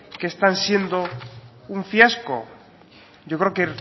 que están siendo un fiasco yo creo que